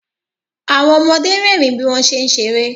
Àwọn ọmọde rẹ́rìn bí wọ́n ṣé ń ṣeré